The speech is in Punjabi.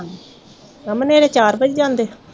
ਹੁਣ ਮੇਰੇ ਚਾਰ ਵੱਜ ਜਾਂਦੇ